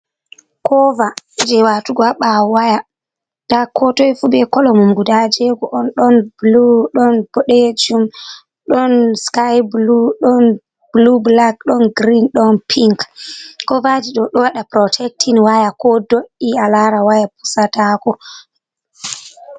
Kovaaji watugo a ɓaawo waya ,ndaa ko toy fu be kolo mum, guda jeego on ;ɗon boɗeejum ,ɗon sky bulu, ɗon bulu bulak, ɗon girin, ɗon pinc. Kovaaji ɗo, ɗo waɗa purotktin waya ko do''i a laara waya pusataako.